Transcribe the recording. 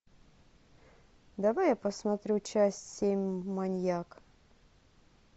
давай я посмотрю часть семь маньяк